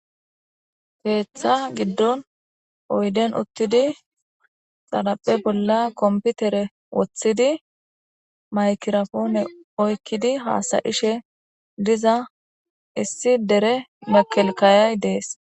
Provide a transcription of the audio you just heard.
keeththa giddon oyden uttidi xalaphe bolla komputere woththidi maykirapoone oykkidi haasayishe diza issi dere mekelkayay dees